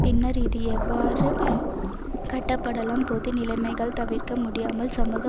பின்னர் இது எவ்வாறு கட்டப்படலம் பொது நிலைமைகள் தவிர்க்க முடியாமல் சமூக